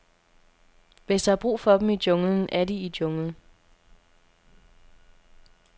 Hvis der er brug for dem i junglen, er de i junglen.